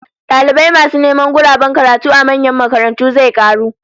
Dalibai masu neman guraben karatu a manyan makarantu zai karu